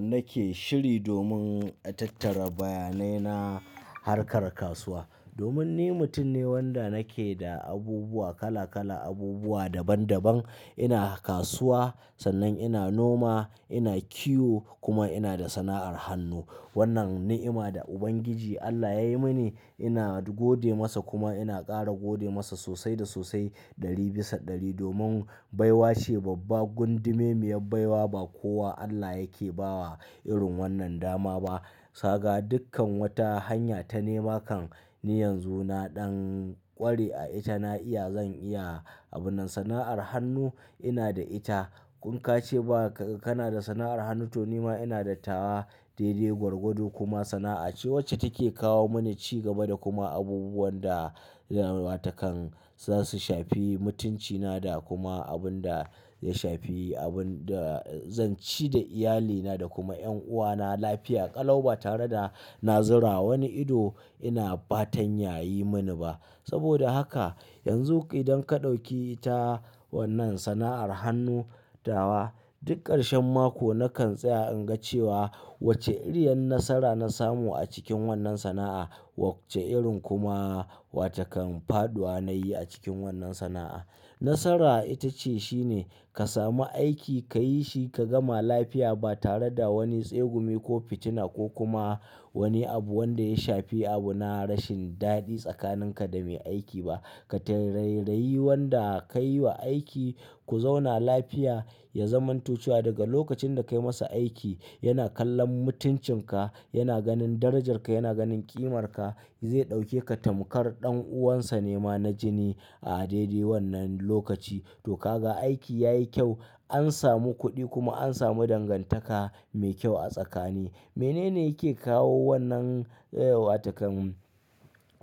nake shiri domin a tattara bayanai na harkar kasuwa. Domin ni mutum ne wanda nake da abubuwa kala kala, abubuwa daban daban. Ina kasuwa, sannan ina noma, ina kiwo kuma ina da sana'ar hannu. Wannan ni'ima da Ubangiji Allah yayi mini. Ina gode masa kuma ina ƙara gode masa sosai da sosai ɗari bisa ɗari domin baiwa ce babba gundume miya baiwa ba ko wa Allah yake bawa irin wannan dama ba. Bisa ga dukkan wata hanya ta nema kan ni yanzu na ɗan ƙware a ita, na iya, zan iya. Wannan ni'ima da Ubangiji Allah yayi mini. Ina gode masa kuma ina ƙara gode masa sosai da sosai ɗari bisa ɗari domin baiwa ce babba gundume miya baiwa ba wannan ni'ima da Ubangiji Allah yayi mini. Ina gode masa kuma ina ƙara gode masa sosai da sosai ɗari bisa ɗari domin baiwa ce babba gundume miya baiwa ba watakan zasu shafi mutuncina da kuma abun da ya shafi abun da zanci da iyali na da kuma 'yan uwa na lafiya ƙalau ba tare da na zira wa wani ido ina fatan ya yi mani ba. Saboda haka yanzu idan ka ɗauki ta wannan sana'ar hannu tawa duk ƙarshen mako nakan tsaya in ga cewa wace iriyar nasara na samu a cikin wannan sana'a wace irin kuma faɗuwa nayi a cikin wannan sana'a nasara itace shine ka samu aiki kayi shi ka gama lafiya ba tare da wani tsegumi ko fitina ko kuma wani abu wanda ya shafi abu na rashin daɗi tsakaninka da mai aiki ba. Ka taraibrayi wanda ka yi wa aiki ku zauna lafiya, ya zamanto cewa daga lokacin da ka yi masa aiki. Yana kallon mutuncinka, yana ganin darajarka, yana ganin ƙimarka. Zai ɗauke ka tamkar ɗan uwansa nema na jini a daidai wannan lokaci. To kaga aiki yayi kyau, an samu kuɗi kuma an samu dangantaka mai kyau a tsakani. Menene yake kawo wannan watakan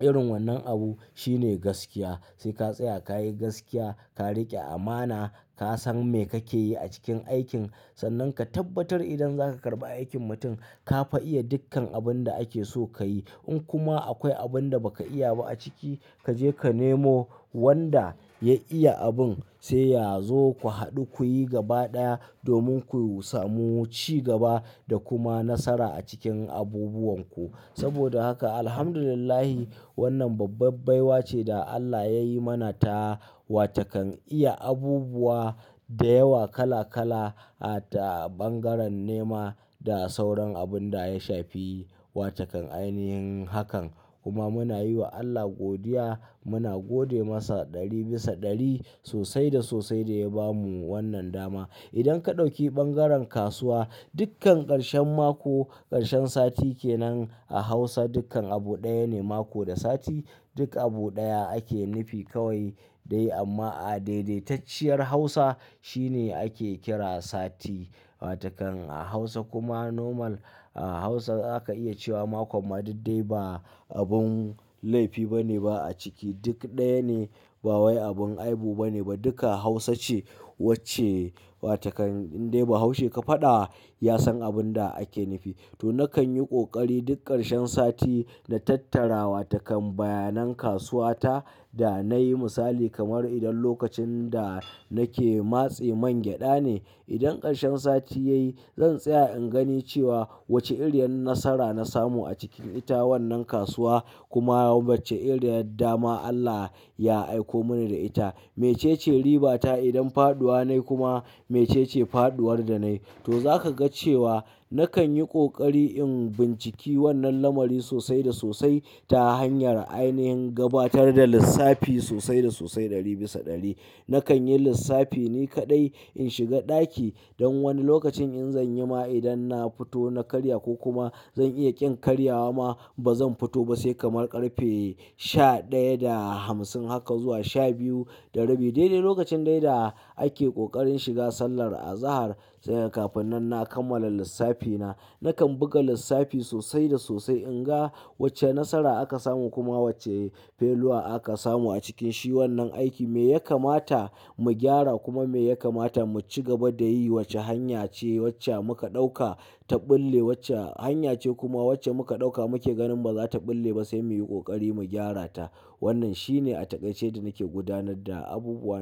irin wannan abu? Shine gaskiya. Sai ka tsaya ka yi gaskiya, ka riƙe amana. Ka san me kake yi a cikin aikin, sannan ka tabbatar idan zaka karɓi aikin mutum ka fa iya dukkan abun da ake so ka yi. In kuma akwai abun da ba ka iya ba a ciki, ka je ka nemo wanda ya iya abun sai ya zo ku haɗu ku yi gaba ɗaya domin ku samu ci gaba da kuma nasara a cikin abubuwan ku. Saboda haka Alhamdulillahi wannan babba baiwa ce da Allah ya yi mana ta watakan iya abubuwa da yawa kala kala a ta bangaren nema da sauran abun da ya shafi watakan ainihin hakan. Kuma muna yi wa Allah godiya. Muna gode masa ɗari bisa ɗari sosai da sosai da ya ba mu wannan dama. Idan ka ɗauki ɓangaren kasuwa dukkan ƙarshen mako, ƙarshen sati kenan a Hausa dukkan abu ɗaya ne mako da sati, duk abu ɗaya ake nufi kawai dai amma a daidaitacciyar Hausa shine ake kira sati. Watakan a Hausa kuma normal a Hausa zaka iya cewa makon ma duk dai ba abun laifi bane ba a ciki. Duk ɗaya ne ba wani abin aibu bane ba duka Hausa ce wacce watakan in dai ba Hausa ka faɗa wa ya san abun da ake nufi. To nakan yi ƙoƙari duk ƙarshen sati na tattara watakan bayanan kasuwa ta da nayi misali kamar idan lokacin da nake matse man gyaɗa ne, idan ƙarshen sati yayi zan tsaya in gani cewa wace iriyar nasara na samu a cikin ita wannan kasuwa kuma wacce iriyar dama Allah ya aiko mani da ita. Mece ce riba ta idan faɗuwa nayi kuma mece ce faɗuwar da nayi. To zaka ga cewa nakan yi ƙoƙari in binciki wannan lamari sosai da sosai ta hanyar ainihin gabatar da lissafi sosai da sosai ɗari bisa ɗari. Nakan yi lissafi ni kaɗai in shiga ɗaki don wani lokacin in zanyi ma idan na fito na karya ko kuma zan iya ƙin karyawa ma ba zan fito ba sai kamar ƙarfe sha ɗaya da hamsin haka zuwa sha biyu da rabi. Daidai lokacin dai da ake ƙoƙarin shiga sallar azahar sai kaga kafin nan na kammala lissafi na. Nakan buga lissafi sosai da sosai in ga wace nasara aka samu kuma wace failure aka samu a cikin shi wannan aiki. Me ya kamata mu gyara kuma me ya kamata mu ci gaba da yi. Wace hanya ce wacce muka ɗauka ta ɓulle, wace hanya ce kuma wacce muka ɗauka muke ganin ba za ta ɓulle ba sai mu yi ƙoƙari mu gyara ta. Wannan shine a taƙaice da nake gudanar da abubuwa na.